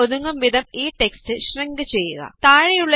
സെല്ലില് ഒതുങ്ങും വിധം ഈ ടെക്സ്റ്റ് ഷ്രിങ്ക് ചെയ്യുക